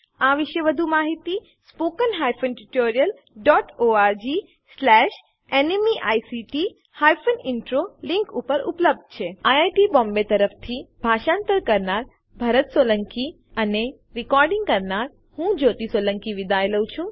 IIT Bombay તરફથી ભાષાંતર કરનાર હું ભરત સોલંકી વિદાય લઉં છું